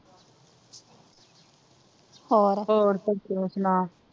ਹੋਰ ਹੋਰ ਫੇਰ ਤੂ ਸੁਨਾਂ,